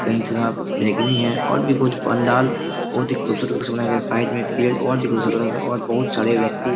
कही थोड़ा बैंगनी हैं और भी बहुत पंडाल बहुत ही खूबसूरत तरीके से बनाया गया हैं साइड में पेड़ और भी खूबसूरत लग रहे हैं और बहुत सारे व्यक्ति